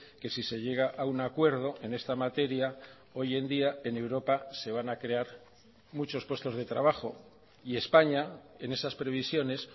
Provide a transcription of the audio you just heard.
que si se llega a un acuerdo en esta materia hoy en día en europa se van a crear muchos puestos de trabajo y españa en esas previsiones